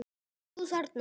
Þú þarna.